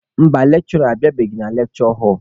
Mba, lekshụra abịabeghị na lekshure họlụ.